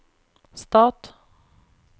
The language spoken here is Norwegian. stat